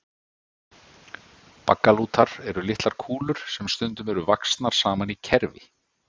Baggalútar eru litlar kúlur sem stundum eru vaxnar saman í kerfi.